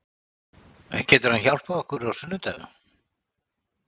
Getur hann hjálpað okkur á sunnudag?